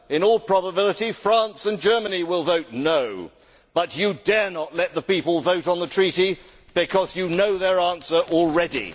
In all probability, France and Germany will vote no' but you dare not let the people vote on the Treaty because you know their answer already.